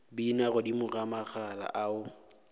bina godimo ga magala ao